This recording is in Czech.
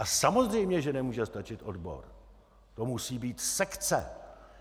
A samozřejmě že nemůže stačit odbor, to musí být sekce.